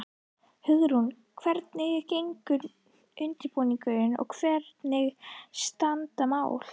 Hugrún, hvernig gengur undirbúningur og hvernig standa mál?